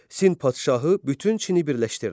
Sin padşahı bütün Çini birləşdirdi.